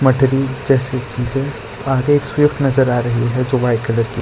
जैसी चीजें आगे एक स्विफ्ट नजर आ रही है जो वाइट कलर की --